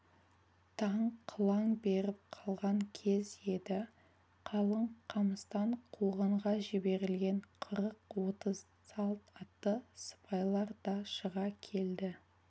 таң қылаң беріп қалған кез еді қалың қамыстан қуғынға жіберілген қырық-отыз салт атты сыпайлар да шыға келді